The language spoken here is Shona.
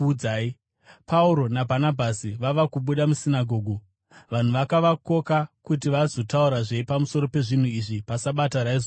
Pauro naBhanabhasi vava kubuda musinagoge, vanhu vakavakoka kuti vazotaurazve pamusoro pezvinhu izvi paSabata raizotevera.